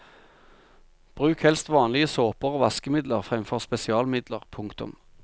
Bruk helst vanlige såper og vaskemidler fremfor spesialmidler. punktum